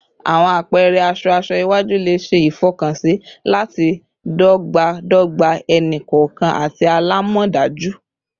Awọn apẹrẹ aṣọ aṣọ iwaju le ṣe ifọkansi lati dọgbadọgba ẹni-kọọkan ati alamọdaju